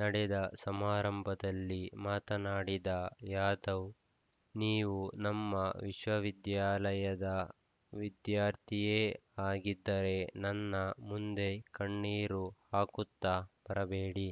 ನಡೆದ ಸಮಾರಂಭದಲ್ಲಿ ಮಾತನಾಡಿದ ಯಾದವ್‌ ನೀವು ನಮ್ಮ ವಿಶ್ವವಿದ್ಯಾಲಯದ ವಿದ್ಯಾರ್ಥಿಯೇ ಆಗಿದ್ದರೆ ನನ್ನ ಮುಂದೆ ಕಣ್ಣೕರು ಹಾಕುತ್ತ ಬರಬೇಡಿ